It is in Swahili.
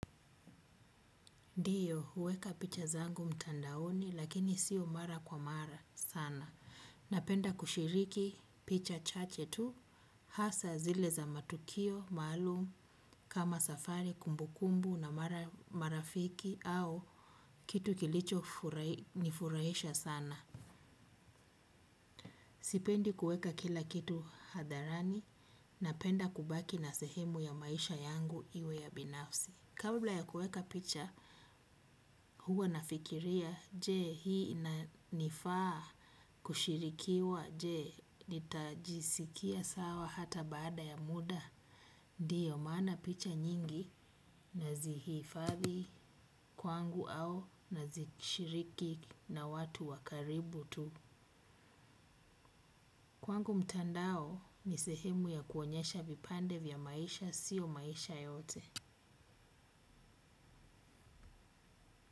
Ndiyo, huweka picha zangu mtandaoni lakini sio mara kwa mara sana. Napenda kushiriki picha chache tu. Hasa zile za matukio, maalum, kama safari, kumbukumbu na marafiki au kitu kilicho nifurahisha sana. Sipendi kuweka kila kitu hadharani. Napenda kubaki na sehemu ya maisha yangu iwe ya binafsi. Kabla ya kuweka picha, huwa nafikiria, je hii inanifaa kushirikiwa, je, nitajisikia sawa hata baada ya muda. Ndiyo maana picha nyingi nazihifadhi kwangu au nazishiriki na watu wakaribu tu. Kwangu mtandao ni sehemu ya kuonyesha vipande vya maisha, sio maisha yote.